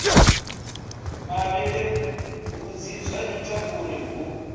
malelebvudzi zwa ita uri hu